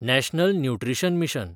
national nutrition mission